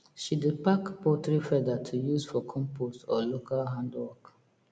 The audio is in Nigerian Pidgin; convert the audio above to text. she dey pack poultry feather to use for compost or local handwork